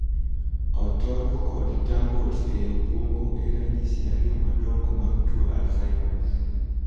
Otodo kod 'tangles' ei obuongo e ranyisi ariyo madongo mag tuo 'Alzheimers'